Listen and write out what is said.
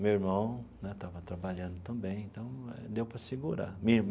Meu irmão né estava trabalhando também, então deu para segurar.